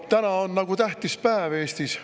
Täna on tähtis päev Eestis.